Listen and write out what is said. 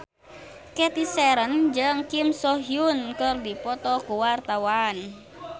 Cathy Sharon jeung Kim So Hyun keur dipoto ku wartawan